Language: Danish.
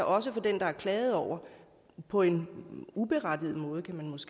også for den der er klaget over på en uberettiget måde kan man måske